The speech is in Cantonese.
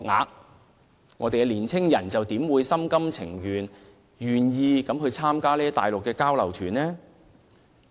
有見及此，本港的年輕人又怎會心甘情願參加這些內地交流團？